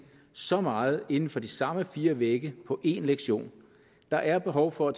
så meget inden for de samme fire vægge på én lektion der er behov for at